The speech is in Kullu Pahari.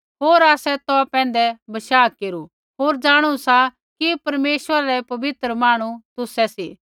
होर आसै तौ पैंधै बशाह केरू होर जाणु सा कि परमेश्वरा रै पवित्र मांहणु तुसै सी